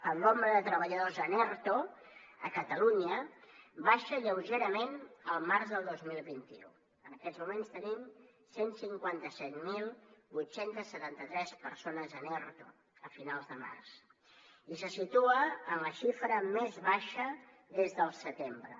el nombre de treballadors en erto a catalunya baixa lleugerament el març del dos mil vint u en aquests moments tenim cent i cinquanta set mil vuit cents i setanta tres persones en erto a finals de març i se situa en la xifra més baixa des del setembre